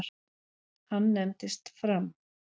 Hann nefndist Fram.